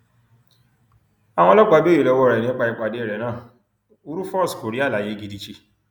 àwọn ọlọpàá béèrè lọwọ ẹ nípa ìpàdé rẹ náà rufus kò rí àlàyé gidi ṣe